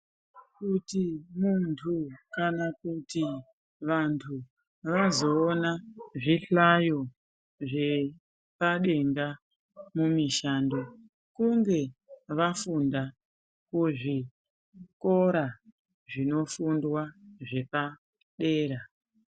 Kuti muntu kana kuti vantu vazoona zvihlayo zvepadenga mumishando kunge vafunda kuzvikora zvinofindwa zvepadera